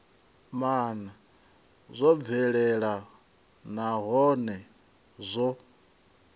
maana zwo bvelela nahone zwo